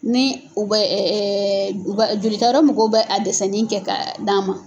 Ni u bɛ jolita yɔrɔ mɔgɔw bɛ a dɛsɛnnin kɛ ka d'a ma!